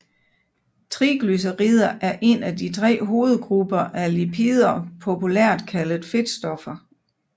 Triglycerider er en af de tre hovedgrupper af lipider populært kaldet fedtstoffer